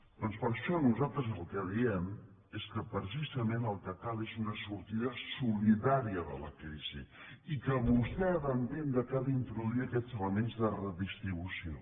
doncs per això nosaltres el que diem és que precisament el que cal és una sortida solidària de la crisi i que vostè ha d’entendre que ha d’introduir aquests elements de redistribució